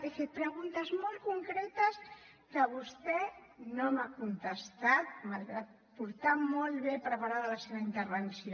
he fet preguntes molt concretes que vostè no m’ha contestat malgrat portar molt ben preparada la seva intervenció